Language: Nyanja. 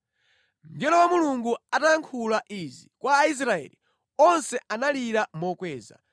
Mngelo wa Mulungu atayankhula izi kwa Aisraeli, onse analira mokweza,